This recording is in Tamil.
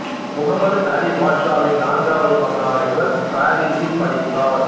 முகம்மது அலி பாஷாவின் நான்காவது மகனான இவர் பாரிஸில் படித்தார்